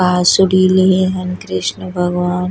बाँसुरी लिए हैं कृष्ण भगवान।